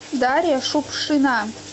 дарья шукшина